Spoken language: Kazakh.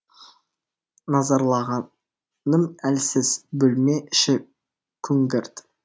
назарлағаным әлсіз бөлме іші күңгірт